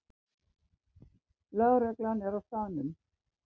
Lögreglan er á staðnum